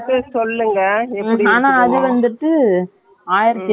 அது அவங்க car குக் complement தராது, எங்க car குக் complement இல்லை.